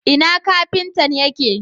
Ina Kafintan yake